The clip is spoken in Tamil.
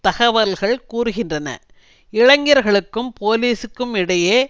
தகவல்கள் கூறுகின்றன இளைஞர்களுக்கும் போலீசுக்கும் இடையே